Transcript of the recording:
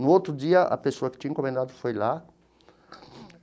No outro dia, a pessoa que tinha encomendado foi lá.